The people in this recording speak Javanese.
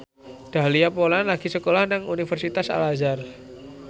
Dahlia Poland lagi sekolah nang Universitas Al Azhar